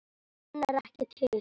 Hann er ekki til!